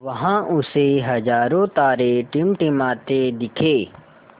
वहाँ उसे हज़ारों तारे टिमटिमाते दिखे